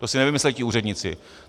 To si nevymysleli ti úředníci.